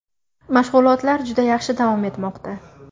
Mashg‘ulotlar juda yaxshi davom etmoqda.